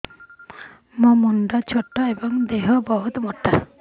ମୋ ମୁଣ୍ଡ ଛୋଟ ଏଵଂ ଦେହ ବହୁତ ମୋଟା